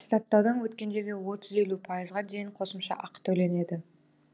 атестаттаудан өткендерге отыз елу пайызға дейін қосымша ақы төленеді